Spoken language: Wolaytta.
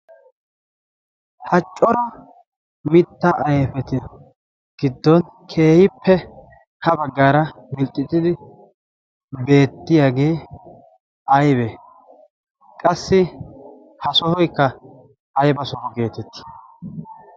ha cora mitta ayfeti giddon keehippe ha baggaara milxxixidi beettiyaagee aybee qassi ha sohoykka ayba soho geetetti